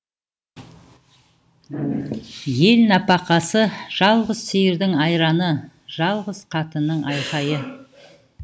ел нәпақасы жалғыз сиырдың айраны жалғыз қатынның айқайы